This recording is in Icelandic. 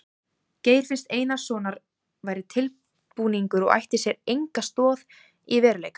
Geir finns Einarssonar væri tilbúningur og ætti sér enga stoð í veruleikanum.